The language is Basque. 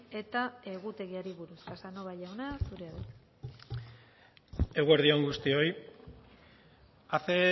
eta egutegiari buruz casanova jauna zurea da hitza eguerdi on guztioi hace